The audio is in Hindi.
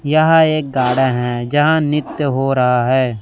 यहां एक गार्डन है यहां नित्य हो रहा है।